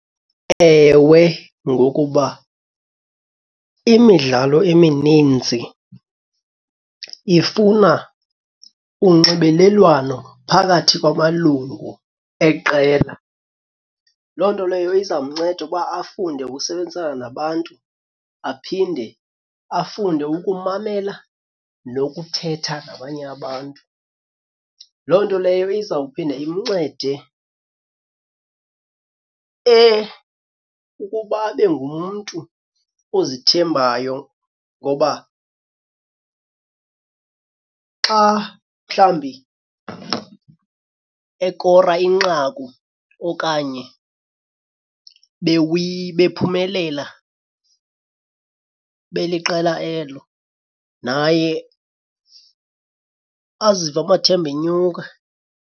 Ewe, ngokuba imidlalo emininzi ifuna unxibelelwano phakathi kwamalungu eqela. Loo nto leyo iza mnceda uba afunde ukusebenzisana nabantu aphinde afunde ukumamela nokuthetha nabanye abantu. Loo nto leyo izawuphinda imncede ukuba abe ngumntu ozithembayo ngoba xa mhlambi ekora inqaku okanye bephumelela beliqela elo, naye azive amathemba enyuka.